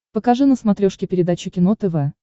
покажи на смотрешке передачу кино тв